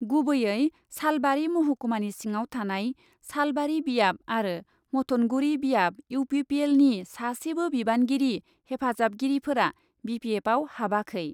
गुबैयै सालबारि महकुमानि सिङाव थानाय सालबारि बियाब आरो मथनगुरि बियाब इउ पि पि एलनि सासेबो बिबानगिरि, हेफाजाबगिरिफोरा बि पि एफआव हाबाखै।